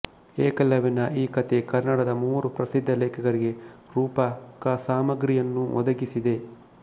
ಏಕಲವ್ಯನ ಈ ಕಥೆ ಕನ್ನಡದ ಮೂವರು ಪ್ರಸಿದ್ಧ ಲೇಖಕರಿಗೆ ರೂಪಕಸಾಮಗ್ರಿಯನ್ನೊ ದಗಿಸಿದೆ